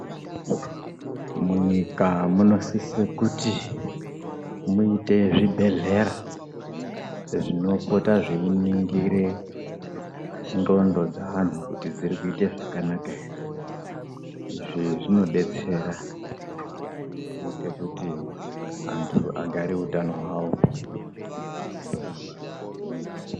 Munyika munosise kuti muite zvibhedlera zvinopota zviyiningire ndxondo dzaanhu kuti dzirikuita zvakanaka here ,izvi zvinodetsera kuite kuti antu agare hutano hwawo hwakangwarirwa.